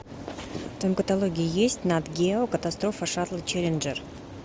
в твоем каталоге есть нат гео катастрофа шаттла челленджер